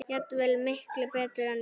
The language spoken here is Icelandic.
Jafnvel miklu betur en ég.